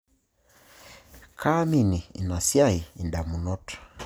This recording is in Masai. Kaimini ina siai indamunot